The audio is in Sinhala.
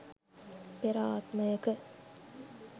පෙර ආත්මයක